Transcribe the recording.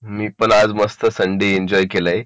मी पण आज मस्त संडे एन्जॉय केलाय